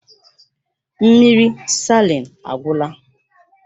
Mmiri salin agwụla